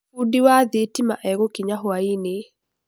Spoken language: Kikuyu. Fundi wa thitima egũkinya hwainĩ.